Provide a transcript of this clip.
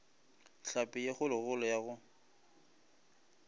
hlapi ye kgolokgolo ya go